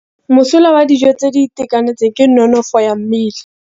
Mosola wa dijô tse di itekanetseng ke nonôfô ya mmele.